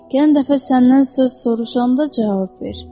Gələn dəfə səndən söz soruşanda cavab ver.